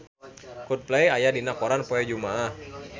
Coldplay aya dina koran poe Jumaah